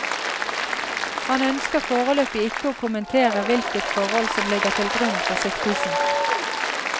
Han ønsker foreløpig ikke å kommentere hvilket forhold som ligger til grunn for siktelsen.